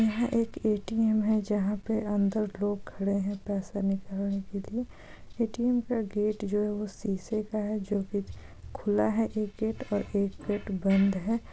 यहाँ एक ए.टी.एम है जहाँ पे अंदर लोग खड़े है पैसे निकलना के लिए। ए.टी.एम का गेट जो है सीसे का है जो के खुला है एक गेट ओर एक गेट बंद है।